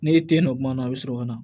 N'e te yen nɔ kuma na a bi sɔrɔ ka na